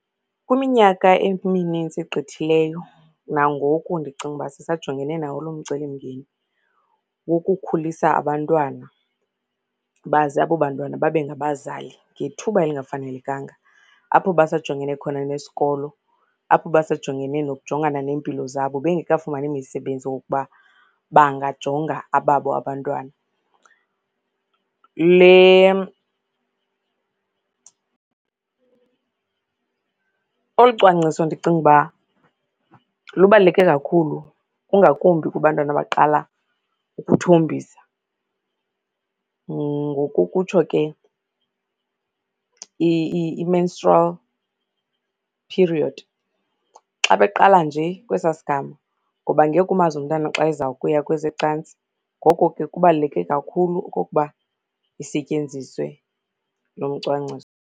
Kwiminyaka eminintsi egqithileyo, nangoku ndicinga uba sisajongene nawo loo mcelimngeni wokukhulisa abantwana baze abo bantwana babe ngabazali ngethuba elingafanelekanga. Apho basajongene khona nesikolo, apho besajongene nokujongana neempilo zabo, bengekafumani imisebenzi wokuba bangajonga ababo abantwana. Le olu cwangcwiso ndicinga uba lubaluleke kakhulu kungakumbi kubantwana abaqala ukuthombisa, ngokokutsho ke i-menstrual period. Xa beqala nje kwesaa sigama, ngoba ngeke umazi umntana xa ezawukuya kweze cantsi, ngoko ke kubaluleke kakhulu okokuba isetyenziswe lo mcwangciso.